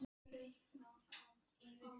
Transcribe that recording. Er hún kannski vonsvikin, ástfangin stelpa?